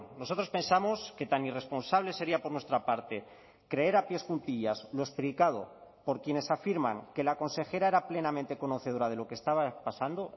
nosotros pensamos que tan irresponsable sería por nuestra parte creer a pies juntillas lo explicado por quienes afirman que la consejera era plenamente conocedora de lo que estaba pasando